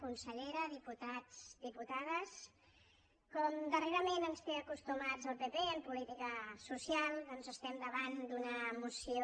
consellera diputats diputades com darrerament ens té acostumats el pp en política social doncs estem davant d’una moció